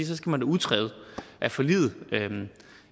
så skal man da udtræde af forliget